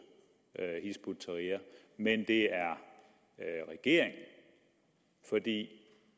hizb ut tahrir men at det